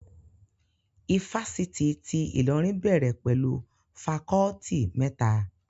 Ifásitì ti Ìlọrin bẹ̀rẹ̀ pẹ̀lú fakọọti mẹ́ta